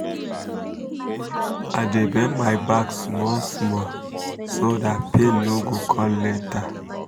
. i dey bend my back small-small so that pain no go come later.